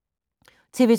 TV 2